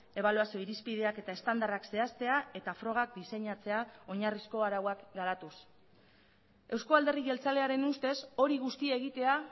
ebaluazio irizpideak eta estandarrak zehaztea eta frogak diseinatzea oinarrizko arauak garatuz euzko alderdi jeltzalearen ustez hori guztia egitea